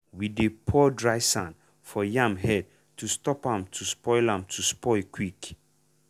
we dey pour dry sand for yam head to stop am to spoil am to spoil quick.